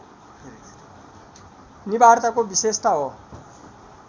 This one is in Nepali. निवार्ताको विशेषता हो